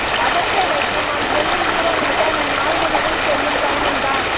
அவற்றை வைத்து நாம் செல்லும் தூரம் முழுக்க நம் ஆழ்மனத்துள் செல்லும் பயணம் தான்